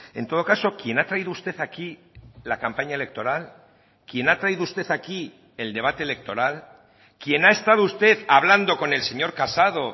en todo caso quien ha traído usted aquí la campaña electoral quien ha traído usted aquí el debate electoral quien ha estado usted hablando con el señor casado